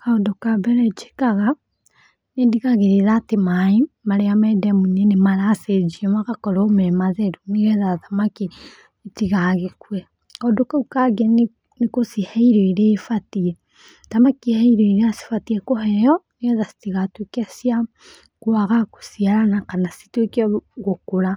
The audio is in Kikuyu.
Kaũndũ ka mbere njĩkaga, nĩ ndigagĩrĩra atĩ maĩ marĩa me ndemu-inĩ nĩ maracenjio magakorwo me matheru nĩ getha thamaki itigagĩkue. Kaũndũ kau kangĩ nĩ gũcihe irio irĩa ibatiĩ. Thamaki he irio irĩa cibatiĩ kũheo nĩ getha citigatuĩke cia kwaga gũciarana kana cituĩke gũkũra.